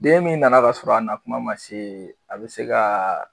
Den min nana k'a sɔrɔ a na kuma ma se a bi se ka